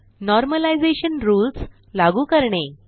normalisation rules लागू करणे